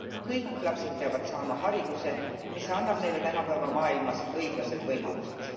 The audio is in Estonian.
Kõik lapsed peavad saama hariduse, mis annab neile tänapäeva maailmas õiglased võimalused.